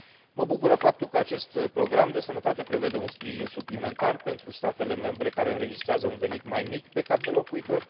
Mă bucură faptul că acest program de sănătate prevede un sprijin suplimentar pentru statele membre care înregistrează un venit mai mic pe cap de locuitor.